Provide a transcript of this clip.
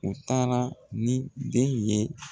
U taara ni den ye